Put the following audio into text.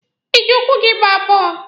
Ị jị ụkwụ gị gbaa bọọlụ?